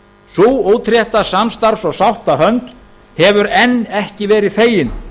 sú útrétta samstarfs og sáttahönd hefur enn ekki verið þegin